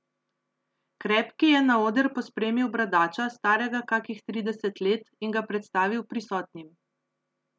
Krepki je na oder pospremil bradača, starega kakih trideset let, in ga predstavil prisotnim.